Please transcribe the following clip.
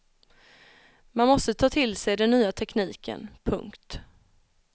Man måste ta till sig den nya tekniken. punkt